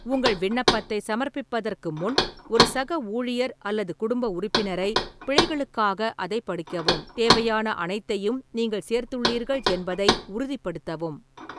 உங்கள் விண்ணப்பத்தை சமர்ப்பிப்பதற்கு முன், ஒரு சக ஊழியர் அல்லது குடும்ப உறுப்பினரை பிழைகளுக்காக அதைப் படிக்கவும், தேவையான அனைத்தையும் நீங்கள் சேர்த்துள்ளீர்கள் என்பதை உறுதிப்படுத்தவும்.